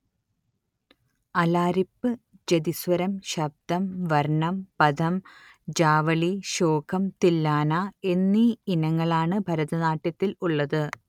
അലാരിപ്പ് ജതിസ്വരം ശബ്ദം വർണം പദം ജാവളി ശ്ലോകം തില്ലാന എന്നീ ഇനങ്ങളാണ് ഭരതനാട്യത്തിൽ ഉള്ളത്